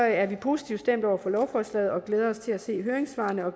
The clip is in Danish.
er vi positivt stemt over for lovforslaget og glæder os til at se høringssvarene og